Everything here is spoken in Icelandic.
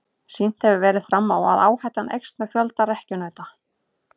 Sýnt hefur verið fram á að áhættan eykst með fjölda rekkjunauta.